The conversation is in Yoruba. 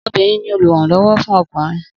Obìnrin ni olùrànló̩wó̩ fún o̩kùnrin